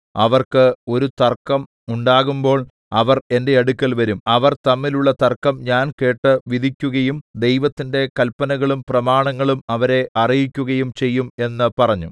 അവർക്ക് ഒരു തർക്കം ഉണ്ടാകുമ്പോൾ അവർ എന്റെ അടുക്കൽ വരും അവർ തമ്മിലുള്ള തർക്കം ഞാൻ കേട്ടു വിധിക്കുകയും ദൈവത്തിന്റെ കല്പനകളും പ്രമാണങ്ങളും അവരെ അറിയിക്കുകയും ചെയ്യും എന്ന് പറഞ്ഞു